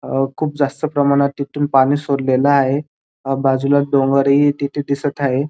अ खूप जास्त प्रमाणात तिथून पाणी सोडलेल आहे बाजूला डोंगरही तिथ दिसत आहेत.